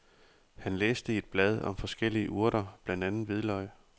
Han læste i et blad om forskellige urter, blandt andet hvidløg.